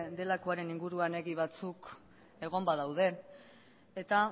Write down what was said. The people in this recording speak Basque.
delakoaren inguruan egi batzuk egon badaude eta